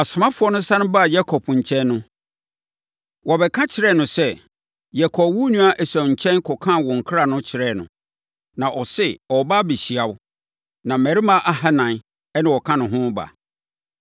Asomafoɔ no sane baa Yakob nkyɛn no, wɔbɛka kyerɛɛ no sɛ, “Yɛkɔɔ wo nua Esau nkyɛn kɔkaa wo nkra no kyerɛɛ no, na ɔse ɔreba abɛhyia wo, na mmarima ahanan na wɔka ne ho reba.”